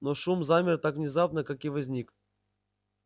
но шум замер так же внезапно как и возник